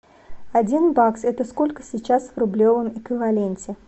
один бакс это сколько сейчас в рублевом эквиваленте